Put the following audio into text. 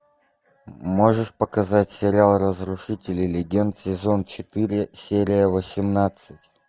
можешь показать сериал разрушители легенд сезон четыре серия восемнадцать